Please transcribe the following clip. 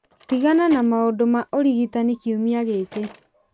tigana na maũndũ ma ũrigitani kiumia gĩkĩ